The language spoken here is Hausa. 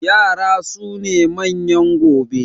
Yara su ne manyan gobe